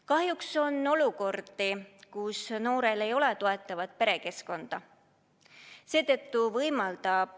Kahjuks on olukordi, kus noorel ei ole toetavat perekeskkonda.